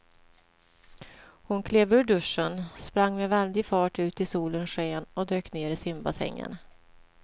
Hon klev ur duschen, sprang med väldig fart ut i solens sken och dök ner i simbassängen.